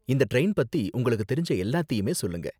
இந்த டிரைன் பத்தி உங்களுக்கு தெரிஞ்ச எல்லாத்தையுமே சொல்லுங்க.